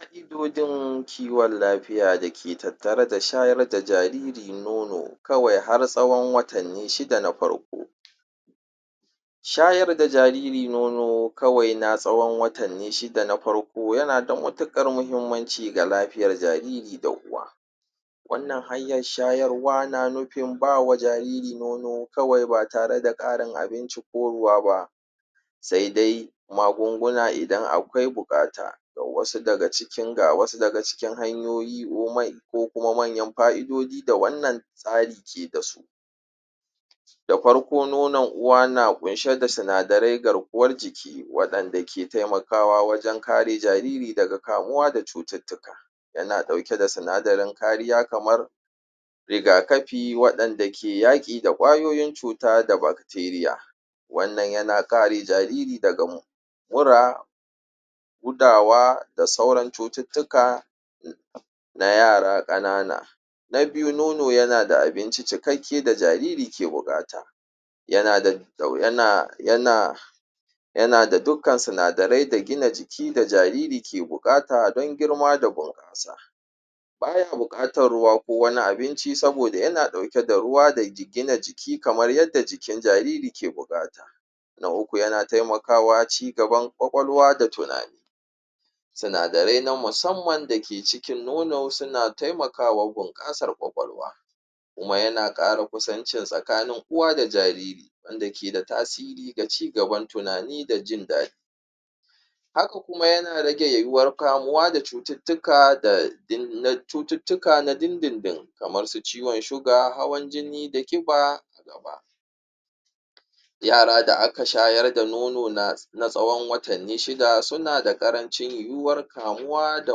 ƙa'iudojin kiwan lafiya dake tattare da shayar da jariri nono kawai har tsawan watanni shida na farko shayar da jariri nono kawai na tsawan watanni shida na farko yana da matuƙar mahimmanci ga lafiyar jariri da uwa wannan hanyar shayarwa na nufin bawa jariri nono kawai ba tare da ƙarin abinci ko ruwa ba sai dai magunguna idan akwai buƙata ga wasu daga cikin hanyoyi ko kuma manyan fa'idoji da wannan tsare ke dasu da farko nono uwa na kunshe da sinadarai garkuwar jiki waɗanda ke taimakawa wajan kare jariri daga kamuwa da cuttuttuka yana ɗauke da sinadarin kariya kamar riga kafi waɗanda ke yaƙi da kwayoyin cuta da bacteria wannan yana ƙare jariri daga mura gudawa da sauran cututtuka na yara kanana na biyu nono yana da abinci cikakki da jariri ke buƙata yana yana da dukkan sinadarai da gina jiki da jariri ke buƙata dan girma da bunƙasa baya buƙatar ruwa ko wani abinci saboda yana ɗauke da ruwa da gina jiki kamar yadda jikin jariri ke buƙata na uku yana taimakawa cigaban ƙwaƙwalwa da tunani sunadarai na musamman dake cikin nono suna taimakawa bunƙasar ƙwaƙwalwa kuma yana ƙara kusancin tsakanin uwa da jariri wanda ke da tasiri ga cigaban tunani da jindaɗi haka kuma yana rage yuwuwar kamuwa da cututtuka na dindindin kamarsu ciwan suga hawan jini da ƙiba yara da aka shayar da nono na tsawan watanni shida suna da ƙarancin yuwuwar kamuwa da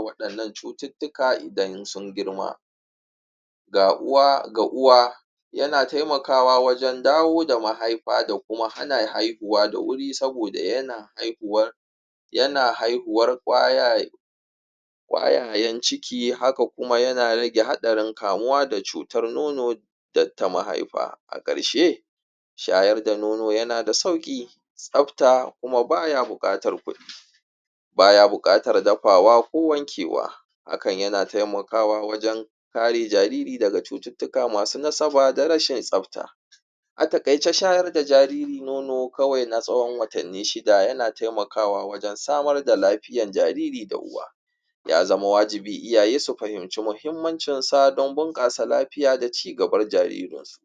waɗannan cututtuka idan sun girma ga uwa yana taimakawa wajan dawo da mahaifa da kuma hana haihuwa da wuri saboda yana haihuwar yana haihuwar ƙwayayan ciki haka kuma yana rage haɗarin kamuwa da cutar nono data mahaifa a karshe shayar da nono yana da sauƙi tsafta kuma baya buƙatar baya buƙatar dafawa ko wankewa hakan yana taimakawa wajan kare jariri daga cututtuka masu nasaba da rashin tsafta a taƙaice shayar da jariri nono kawai na tsawan watanni shida yana taimakawa wajan samar da lafiyan jariri da uwa ya zama wajibi iyaye su fahimce muhimmancin don bunƙasa lafiya da cigaban jaririnsu